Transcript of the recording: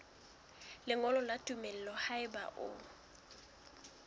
lengolo la tumello haeba o